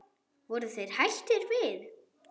Voru þeir hættir við?